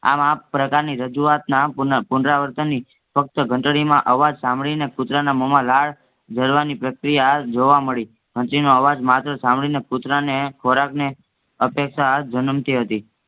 આમ આપ્રકારની રાજુવાત ના ફક્ત ઘંટળી માં અવાજ સાંભડીને કૂટરના મોહમાં લાળ ઝરવાની પ્રતિક્રિયા જોવા મળી. ઘંટળી નો અવાજ માત્ર સાંભડીને કૂતરાને ખોરખની અપેક્ષા જનમ થી હતી